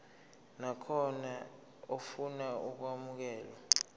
nakhona ofuna ukwamukelwa